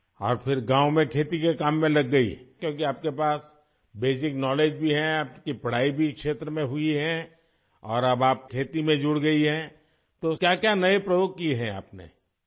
اور پھر وہ گاؤں میں کھیتی باڑی کے کام میں لگ گئیں؟ کیونکہ آپ کے پاس بنیادی علم بھی ہے، آپ نے اس شعبے میں تعلیم بھی حاصل کی ہے اور اب آپ کاشتکاری سے منسلک ہو چکی ہیں، تو کیا کیا نئے تجربات کیے ہیں آپ نے ؟